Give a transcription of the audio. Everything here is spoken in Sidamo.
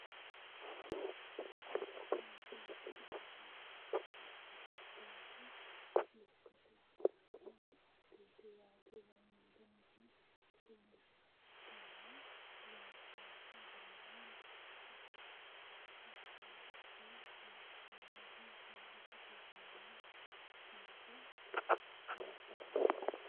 Kuni misilete aana leellannohu labballu lekkate wodhanno koatteeti yaate, danasino kolishsho ikkitanna, loonsoonnisi garino danchaho hattono iso loonsannihu saadate goginniiti ikkinota anfanni.